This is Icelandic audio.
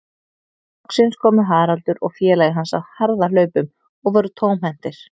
Loksins komu Haraldur og félagi hans á harðahlaupum og voru tómhentir.